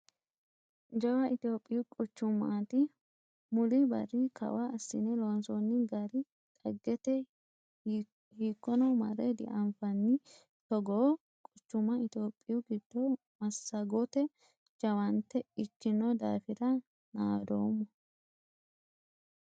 Jawa itophiyu quchumati muli barri kawa assine loonsonni gari dhaggete hiikkono marre dianfanni togoo quchuma itophiyu giddo massagote jawaante ikkino daafira naadoommo .